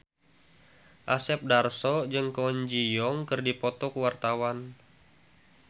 Asep Darso jeung Kwon Ji Yong keur dipoto ku wartawan